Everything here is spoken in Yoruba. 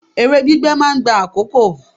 Èrè gbígbé máa ń gba àkókò.